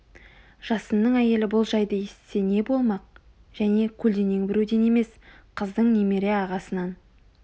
жасынның әйелі бұл жайды есітсе не болмақ және көлденең біреуден емес қыздың немере ағасынан